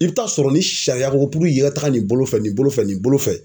I bɛ taa sɔrɔ ni sariya ko i ka taa nin bolo fɛ nin bolo fɛ nin bolo fɛ.